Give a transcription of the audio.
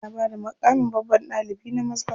Ana bada maƙamin babban ɗalibi na maza.